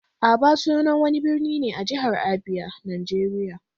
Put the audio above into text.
Aba sunan wani birni ne a jihar Abia, Najeriya.